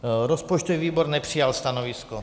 Rozpočtový výbor nepřijal stanovisko.